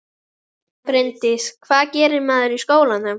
Bryndís: Hvað gerir maður í skólanum?